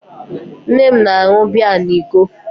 Nne m na-aṅụ biya na iko